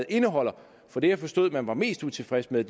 indeholder for det jeg forstod man var mest utilfreds med